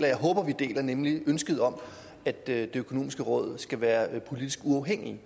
jeg håber vi deler nemlig ønsket om at det økonomiske råd skal være politisk uafhængigt